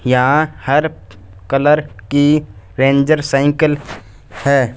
यहां हर कलर की रेंजर साइकिल है।